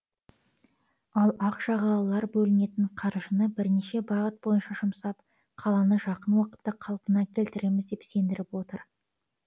ал ақ жағалылар бөлінетін қаржыны бірнеше бағыт бойынша жұмсап қаланы жақын уақытта қалпына келтіреміз деп сендіріп отыр